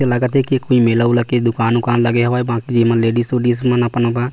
लागत है कि कौन मेला उला के दुकान उकान लगे हवे बाकी लेडीज उडिस